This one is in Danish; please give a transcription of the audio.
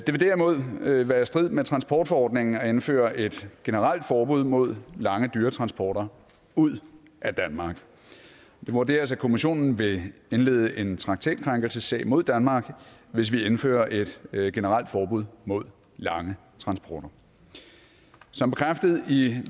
vil derimod være i strid med transportforordningen at indføre et generelt forbud mod lange dyretransporter ud af danmark det vurderes at kommissionen vil indlede en traktatkrænkelsessag mod danmark hvis vi indfører et generelt forbud mod lange transporter som bekræftet i